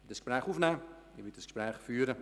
Ich werde das Gespräch aufnehmen.